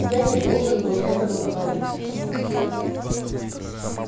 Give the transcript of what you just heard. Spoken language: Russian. я не должен был этого говорить